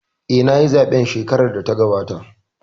Eh, nayi zaɓe a zaɓen shekarar da ta gabata